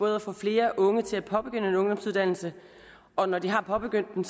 at få flere unge til at påbegynde en ungdomsuddannelse og når de har påbegyndt den